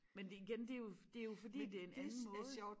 Men det igen det jo det jo fordi det en anden måde